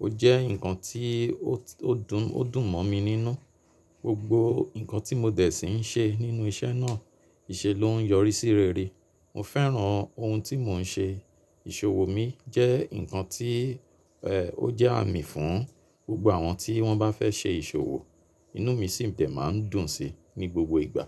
Ó jẹ́ ǹkan tí ó dùn, ó dùn mọ́ mi nínú. Gbogbo ǹkan tí mo dẹ̀ sí ń ṣe nínú iṣẹ́ náà, ìṣe ló ń yọrí sí rere. Mo fẹ́ràn ohun tí mò ń ṣe. Ìṣòwò mi jẹ́ ǹkan tí ẹ, ó jẹ́ àmì fún gbogbo àwọn tí wọ́n bá fẹ́ ṣe ìṣòwò, inú mi sì ń dẹ̀ máa ń dùn sí ní gbogbo ìgbà.